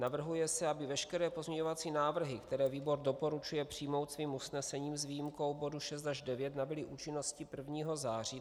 Navrhuje se, aby veškeré pozměňovací návrhy, které výbor doporučuje přijmout svým usnesením, s výjimkou bodu 6 až 9, nabyly účinnosti 1. září.